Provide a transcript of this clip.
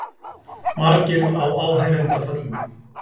Margir á áheyrendapöllum